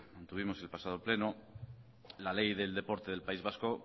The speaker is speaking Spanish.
tuvimos el pasado pleno la ley del deporte del país vasco